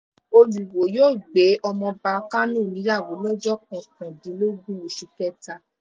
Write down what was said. olùwòo yóò gbé ọmọọba kánò níyàwó lọ́jọ́ kọkàndínlógún oṣù kẹta